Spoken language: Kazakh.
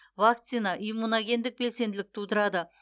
вакцина иммуногендік белсенділік тудырады